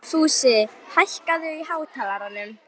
Fúsi, hækkaðu í hátalaranum.